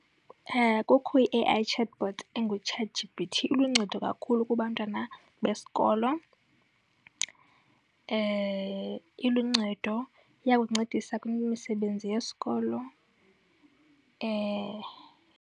Kukho i-A_I chatbot enguChatG_P_T, iluncedo kakhulu kubantwana besikolo. Iluncedo, iyakuncedisa kweminye imisebenzi yesikolo .